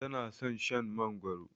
Tana son Shan mangoro